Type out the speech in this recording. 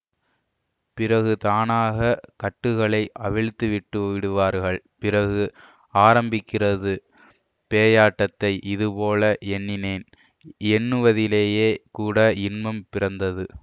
பிறகு தானாகக் கட்டுகளை அவிழ்த்துவிட்டுவிடுவார்கள் பிறகு ஆரம்பிக்கிறது பேயாட்டத்தை இதுபோல எண்ணினேன் எண்ணுவதிலேயே கூட இன்பம் பிறந்தது